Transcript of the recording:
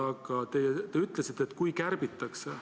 Aga teie ütlesite, et kui kärbitakse.